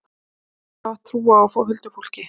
Ég hef alltaf haft trú á huldufólki.